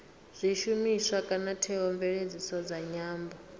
zwishumiswa kana theomveledziso dza nyambo